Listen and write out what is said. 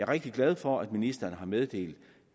rigtig glad for at ministeren har meddelt